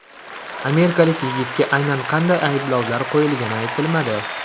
Amerikalik yigitga aynan qanday ayblovlar qo‘yilgani aytilmadi.